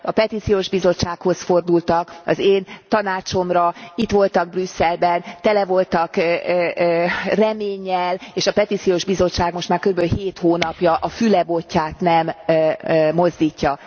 A Petíciós Bizottsághoz fordultak az én tanácsomra, itt voltak Brüsszelben, tele voltak reménnyel és a Petíciós Bizottság most már körülbelül 7 hónapja a füle botját nem mozdítja.